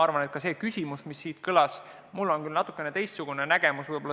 Selles küsimuses, mis siin kõlas, mul on küll natukene teistsugune nägemus.